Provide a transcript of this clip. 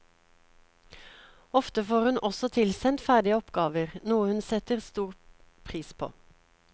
Ofte får hun også tilsendt ferdige oppgaver, noe hun setter stor pris på.